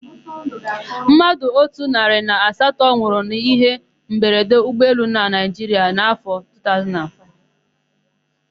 Mmadụ otu narị na asatọ nwụrụ n'íhé mberede ụgbọelu na Naịjiria n'áfọ̀ 2005.